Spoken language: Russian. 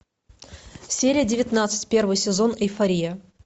серия девятнадцать первый сезон эйфория